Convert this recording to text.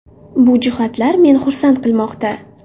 Bu jihatlar meni xursand qilmoqda.